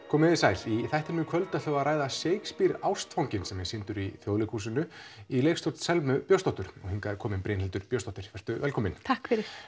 komið þið sæl í þættinum í kvöld ætlum við að ræða Shakespeare ástfanginn sem er sýndur í Þjóðleikhúsinu í leikstjórn Selmu Björnsdóttur og hingað er komin Brynhildur Björnsdóttir vertu velkomin takk fyrir